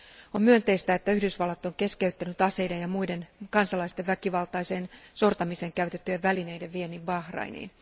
On myönteistä, että Yhdysvallat on keskeyttänyt aseiden ja muiden kansalaisten väkivaltaiseen sortamiseen käytettävien välineiden viennin Bahrainiin.